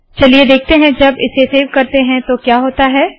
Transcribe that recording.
चलिए देखते है जब इसे सेव करते है तो क्या होता है